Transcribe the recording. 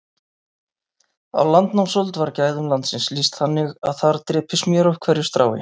Á landnámsöld var gæðum landsins lýst þannig að þar drypi smjör af hverju strái.